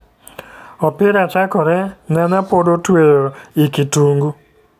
Opira chakore ,nyanya pod otueyo i kitungu